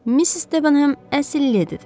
Miss Stavenham əsl ledidir.